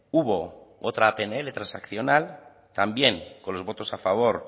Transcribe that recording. hubo otra pnl transaccional también con los votos a favor